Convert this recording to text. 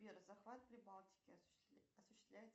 сбер захват прибалтики осуществляется